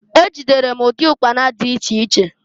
Ejidere m ụdị ụkpana dị iche iche.